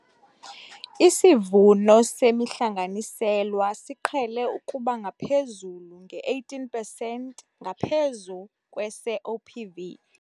Isivuno semihlanganiselwa siqhele ukuba ngaphezulu nge-18 pesenti ngaphezu kwese-OPV.